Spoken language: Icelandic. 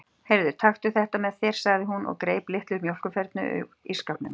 Heyrðu, taktu þetta með þér, sagði hún og greip litla mjólkurfernu úr ísskápnum.